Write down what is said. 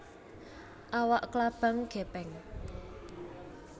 Awak klabang gèpèng